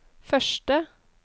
første